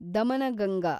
Daman Ganga